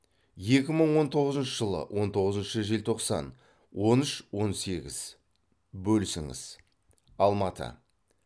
екі мың он тоғызыншы жылы он тоғызыншы желтоқсан он үш он сегіз бөлісіңіз алматы